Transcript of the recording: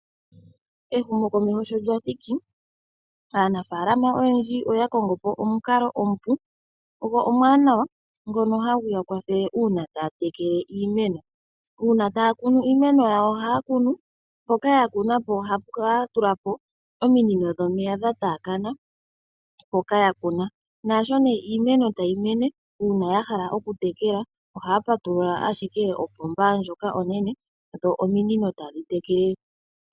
Ehumokomeho sho lya thiki, aanafaalama oyendji oya kongo po omukalo omupu go omuwanawa ngono hagu ya kwathele uuna taya tekele iimeno. Uuna taya kunu iimeno yawo ohaya tula po ominino dhomeya dha taakana, nuuna ya hala okutekela iimeno ohaya patulula owala kopomba onene dho ominino tadhi tekele.